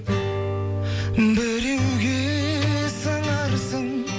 біреуге сыңарсың